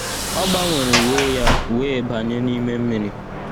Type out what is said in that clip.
ọ gbanwere uwe ya wee banye nime mmiri